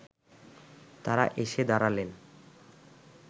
তাঁরা এসে দাঁড়ালেন